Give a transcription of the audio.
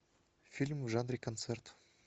фильм в жанре концерт